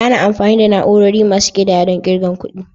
Ana amfani da na'urori masu ƙidaya don ƙirga kuɗi.